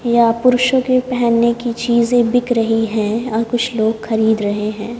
यहां पुरुषों के पहनने की चीजें बिक रही है और कुछ लोग खरीद रहे हैं।